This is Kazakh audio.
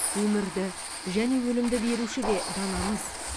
өмірді және өлімді беруші де данамыз